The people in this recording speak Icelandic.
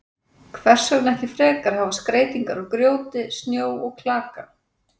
Hvers vegna ekki frekar að hafa skreytingar úr grjóti, snjó og klaka?